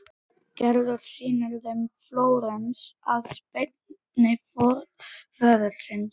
Gerður sýnir þeim Flórens að beiðni föður síns.